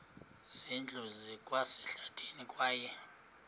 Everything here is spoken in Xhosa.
zindlu zikwasehlathini kwaye